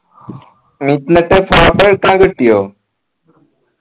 എന്നിട്ട് photo കിട്ടിയോ